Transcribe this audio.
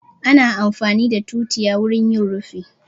Ana amfani da tutiya wurin yin rufi